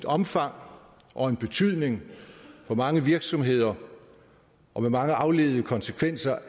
omfang og en betydning for mange virksomheder og med mange afledte konsekvenser